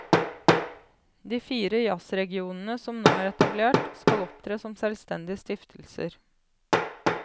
De fire jazzregionene som nå er etablert, skal opptre som selvstendige stiftelser.